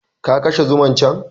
Ka kashe zuman can!